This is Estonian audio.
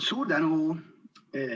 Suur tänu!